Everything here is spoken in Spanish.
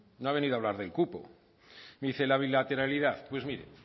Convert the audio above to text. no ha venido a hablar el cupo me dice la bilateralidad pues mire